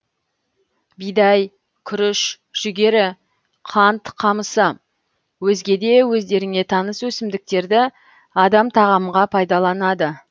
бидай күріш жүгері қант қамысы өзге де өздеріңе таныс өсімдіктерді адам тағамға пайдаланады